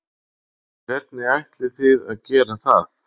Hvernig ætlið þið að gera það?